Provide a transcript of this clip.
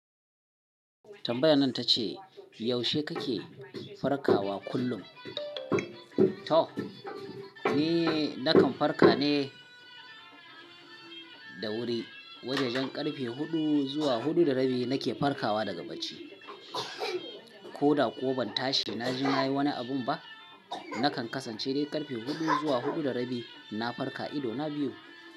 Tambayan ta ce, "Yaushe kake farkawa kullum?" "To, ni nakan farka ne da wuri. Wajajen karfe hudu zuwa hudu da rabi nake farkawa daga bacci. Ko da kuwa ban tashi na je na yi wani abun ba, nakan kasance dai karfe hudu zuwa hudu da rabi na farka idona biyu."